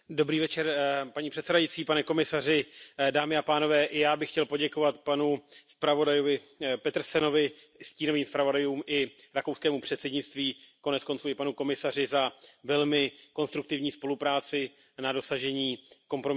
Paní předsedající, pane komisaři, já bych chtěl poděkovat panu zpravodaji Petersenovi, stínovým zpravodajům i rakouskému předsednictví, konec konců i panu komisaři za velmi konstruktivní spolupráci na dosažení kompromisní dohody.